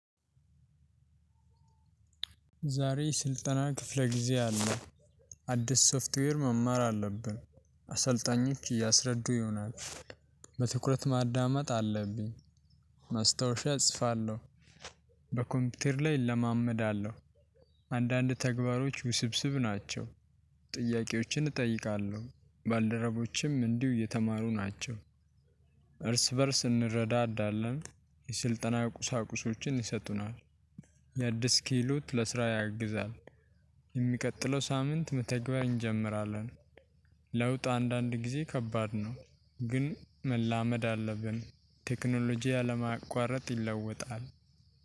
ዛሬ ስልጠና ክፍለ ጊዜ አለ አዲስ ሶፍትዌር መማር አለብን። አሰልጣኞች እያስረዱ ይሆናል በትኩረት ማዳመጥ አለብኝ። ማስታወሻ እጽፋለሁ በ ኮምፒዩተር ላይ እለማመዳለሁ። አንዳንድ ተግባሮች ውስብስብ ናቸው። ጥያቄዎችን እጠይቃለሁ ባልደረቦችም እንዲሁ የተማሩ ናቸው። እርስ በእርስ እንረዳዳለን የስልጠና ቁሳቁሶችን ይሰጡናል። ይህ አዲስ ክህሎት ለስራ ያግዛል። የሚቀጥለው ሳምንት መተግበር እንጀምራለን። ለውጥ አንዳንድ ጊዜ ከባድ ነው። ግን መላመድ አለብን ቴክኖሎጂ ያለ ማቁአረጥ ይለወጣል።